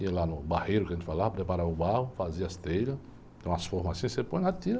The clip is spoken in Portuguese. Ia lá no barreiro que a gente falava, preparava o barro, fazia as telhas, tem umas formas assim, você põe lá, tira...